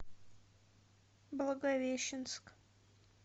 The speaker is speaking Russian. благовещенск